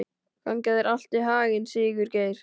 Gangi þér allt í haginn, Sigurgeir.